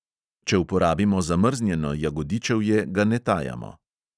Če uporabimo zamrznjeno jagodičevje, ga ne tajamo.